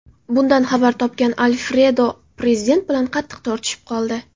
Bundan xabar topgan Alfredo prezident bilan qattiq tortishib qoldi.